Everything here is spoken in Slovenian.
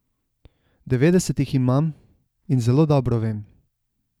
Devetdeset jih imam in zelo dobro vem.